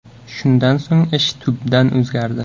Shundan so‘ng ish tubdan o‘zgardi.